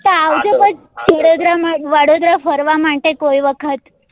તો આવજો પછ સુરેન્દ્રનગર વડોદરા ફરવા માટે કોઈ વખત